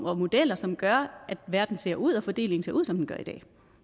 og modeller som gør at verden ser ud og fordelingen ser ud som den gør i dag